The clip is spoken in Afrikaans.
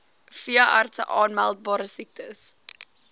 veeartse aanmeldbare siektes